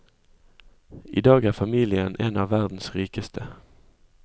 I dag er familien en av verdens rikeste.